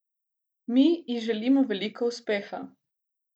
Mi ji želimo veliko uspeha!